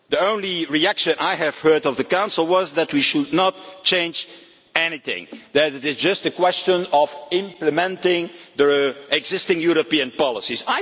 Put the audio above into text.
The only reaction I have heard from the Council was that we should not change anything and that it is just a question of implementing the existing European policies.